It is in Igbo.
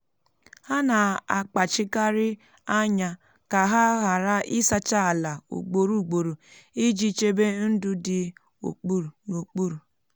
ha na-akpachikarị anya um ka ha ghara ịsacha ala um ugboro ugboro iji chebe ndụ dị n'okpuru.